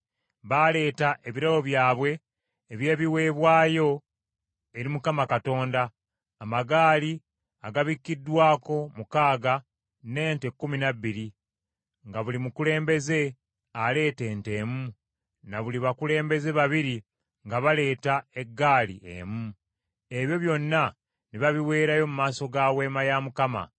Baaleeta ebirabo byabwe eby’ebiweebwayo eri Mukama Katonda, amagaali agabikkiddwako mukaaga n’ente kkumi na bbiri, nga buli mukulembeze aleeta ente emu, na buli bakulembeze babiri nga baleeta eggaali emu. Ebyo byonna ne babiweerayo mu maaso ga Weema ya Mukama .